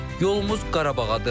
Yolumuz Qarabağadır.